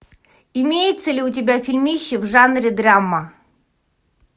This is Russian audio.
имеется ли у тебя фильмище в жанре драма